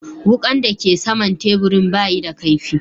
Wukan da ke sama'n taburin ba yi da kaifi.